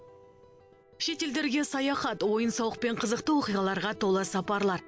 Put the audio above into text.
шетелдерге саяхат ойын сауық пен қызықты оқиғаларға толы сапарлар